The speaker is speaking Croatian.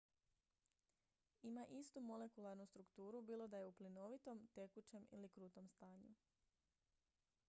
ima istu molekularnu strukturu bilo da je u plinovitom tekućem ili krutom stanju